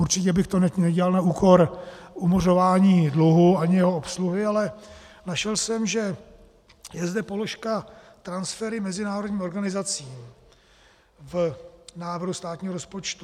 Určitě bych to nedělal na úkor umořování dluhu ani jeho obsluhy, ale našel jsem, že je zde položka transfery mezinárodním organizacím v návrhu státního rozpočtu.